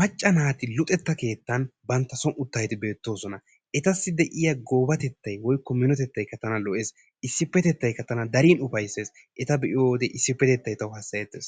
macca naati luxetta keettan bantta son uttaageeti beettoosona. Etassi de'iya goobatettay woykko minotettay tana qassi lo'ees. Issippetettaykka tana qassi darin ufayissees. Eta be'iyode issippetettay tawu hassayettees.